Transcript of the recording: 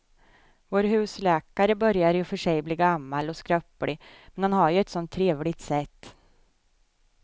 Vår husläkare börjar i och för sig bli gammal och skröplig, men han har ju ett sådant trevligt sätt!